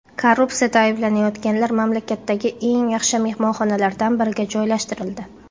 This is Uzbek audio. Korrupsiyada ayblanayotganlar mamlakatdagi eng yaxshi mehmonxonalardan biriga joylashtirildi.